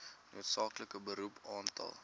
noodsaaklike beroep aantal